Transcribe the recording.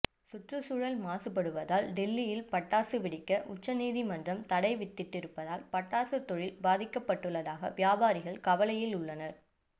சுற்றுச்சூழல் மாசுபடுவதால் டெல்லியில் பட்டாசு வெடிக்க உச்சநீதிமன்றம் தடை வித்திட்டிருப்பதால் பட்டாசு தொழில் பாதிக்கப்பட்டுள்ளதாக வியாபாரிகள் கவலையில் உள்ளனர்